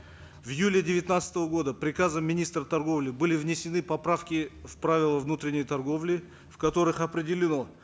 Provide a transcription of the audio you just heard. в июле девятнадцатого года приказом министра торговли были внесены поправки в правила внутренней торговли в которых определено